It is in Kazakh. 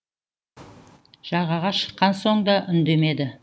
жағаға шыққан соң да үндемеді